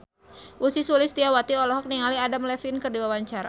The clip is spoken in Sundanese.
Ussy Sulistyawati olohok ningali Adam Levine keur diwawancara